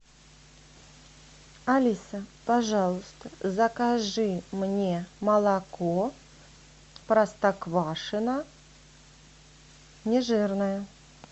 алиса пожалуйста закажи мне молоко простоквашино нежирное